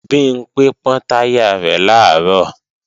Bimpé pọ́n táyà rẹ̀ làárọ̀